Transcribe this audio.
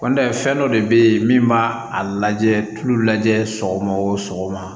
Kɔni tɛ fɛn dɔ de bɛ yen min b'a a lajɛ tulu lajɛ sɔgɔma o sɔgɔma